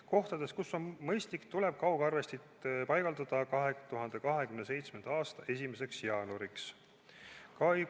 Kohtades, kus on mõistlik, tuleb kaugarvestid paigaldada 2027. aasta 1. jaanuariks.